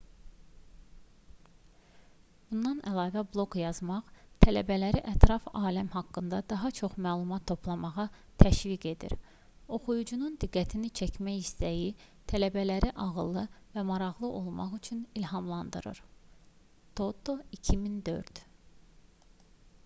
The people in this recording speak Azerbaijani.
bundan əlavə bloq yazmaq tələbələri ətraf aləm haqqında daha çox məlumat toplamağa təşviq edir". oxuyucunun diqqətini çəkmə istəyi tələbələri ağıllı və maraqlı olmaq üçün ilhamlandırır toto 2004